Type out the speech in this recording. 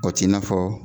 O t'i n'a fɔ